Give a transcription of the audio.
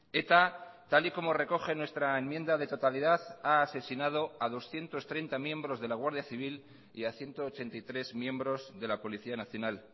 eta tal y como recoge nuestra enmienda de totalidad ha asesinado a doscientos treinta miembros de la guardia civil y a ciento ochenta y tres miembros de la policía nacional